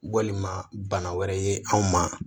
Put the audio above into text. Walima bana wɛrɛ ye anw ma